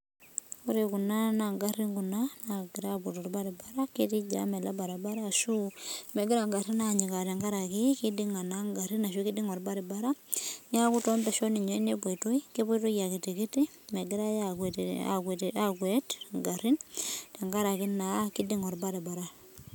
Wore kuna naa ingarin kuna naakira aapuo tolbaribara, ketii jam ele baribara ashu mekira inkarrin aanyikaa tenkaraki kidinga naa inkarrin ashu kidinga olbaribara, neeku toompeshon ninye nepoitoi, kepoitoi akitikiti mekirae aakuet inkarrin tenkaraki naa kidinga olbaribara.